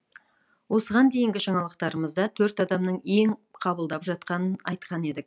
осыған дейінгі жаңалықтарымызда төрт адамның ем қабылдап жатқанын айтқан едік